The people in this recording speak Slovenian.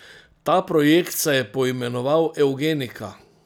Ta projekt se je poimenoval evgenika.